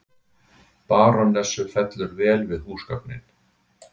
Barónessu fellur vel við húsgögnin.